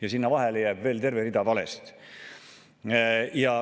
Ja sinna vahele jääb veel terve rida valesid.